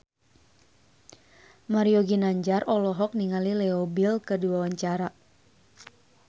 Mario Ginanjar olohok ningali Leo Bill keur diwawancara